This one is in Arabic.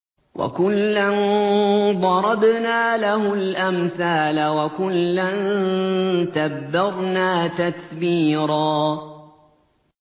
وَكُلًّا ضَرَبْنَا لَهُ الْأَمْثَالَ ۖ وَكُلًّا تَبَّرْنَا تَتْبِيرًا